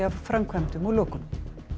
af framkvæmdum og lokunum